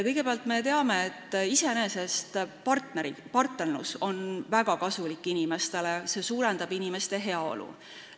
Kõigepealt, me teame, et iseenesest on partnerlus inimestele väga kasulik, sest see suurendab inimeste heaolu.